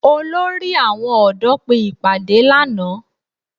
Olórí àwọn ọ̀dọ́ pé ìpàdé lánàá